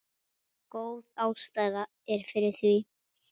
Góð ástæða er fyrir því.